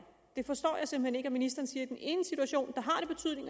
jeg forstår simpelt hen ikke at ministeren siger